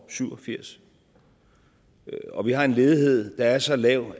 syv og firs og vi har en ledighed der er så lav